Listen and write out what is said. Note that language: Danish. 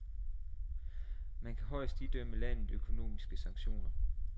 Man kan højst idømme landet økonomiske sanktioner.